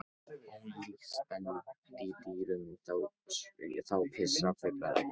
Ólíkt spendýrum þá pissa fuglar ekki.